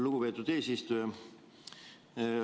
Lugupeetud eesistuja!